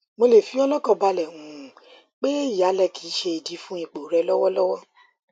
mo le fi ọ lọkàn balẹ um pé ìyálẹ kì í ṣe idi fún ipò rẹ lọwọlọwọ